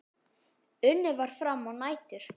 Unnið var fram á nætur.